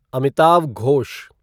Amitav Ghosh